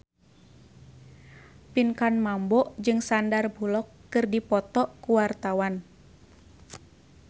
Pinkan Mambo jeung Sandar Bullock keur dipoto ku wartawan